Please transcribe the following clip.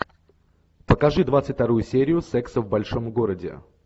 покажи двадцать вторую серию секса в большом городе